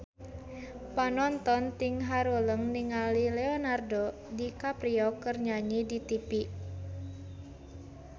Panonton ting haruleng ningali Leonardo DiCaprio keur nyanyi di tipi